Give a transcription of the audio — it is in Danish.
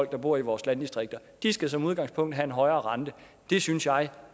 der bor i vores landdistrikter de skal som udgangspunkt have en højere rente det synes jeg